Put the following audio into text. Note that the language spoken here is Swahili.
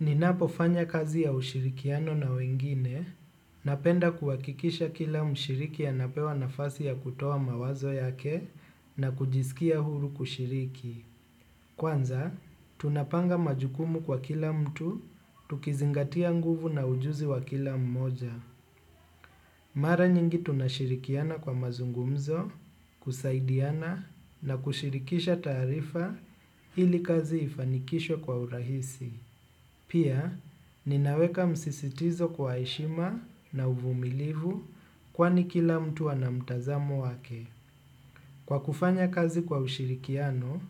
Ninapo fanya kazi ya ushirikiano na wengine, napenda kuwakikisha kila mshiriki anapewa nafasi ya kutowa mawazo yake na kujisikia huru kushiriki. Kwanza, tunapanga majukumu kwa kila mtu, tukizingatia nguvu na ujuzi wa kila mmoja. Mara nyingi tunashirikiana kwa mazungumzo, kusaidiana na kushirikisha taarifa ili kazi ifanikishwe kwa urahisi. Pia, ninaweka msisitizo kwa heshima na uvumilivu kwani kila mtu ana mtazamo wake. Kwa kufanya kazi kwa ushirikiano